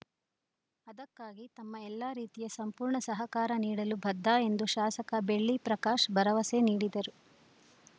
ಅದಕ್ಕಾಗಿ ತಮ್ಮ ಎಲ್ಲ ರೀತಿಯ ಸಂಪೂರ್ಣ ಸಹಕಾರ ನೀಡಲು ಬದ್ಧ ಎಂದು ಶಾಸಕ ಬೆಳ್ಳಿ ಪ್ರಕಾಶ್‌ ಭರವಸೆ ನೀಡಿದರು